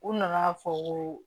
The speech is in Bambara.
U nana fɔ ko